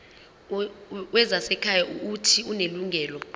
wezasekhaya uuthi unelungelo